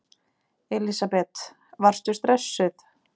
Elísabet: Varstu stressuð?